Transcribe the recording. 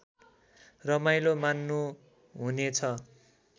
रमाइलो मान्नुहुने छ